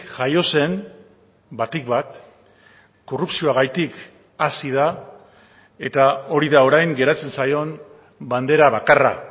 jaio zen batik bat korrupzioagatik hazi da eta hori da orain geratzen zaion bandera bakarra